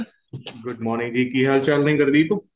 good morning ਜੀ ਕਿ ਹਾਲ ਚਾਲ ਨੇ ਗੁਰਦੀਪ